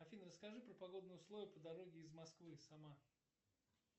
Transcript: афина расскажи про погодные условия по дороге из москвы сама